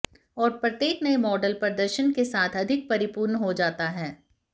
और प्रत्येक नए मॉडल प्रदर्शन के साथ अधिक परिपूर्ण हो जाता है